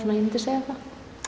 ég myndi segja það